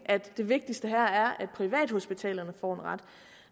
at det vigtigste her er at privathospitalerne får en ret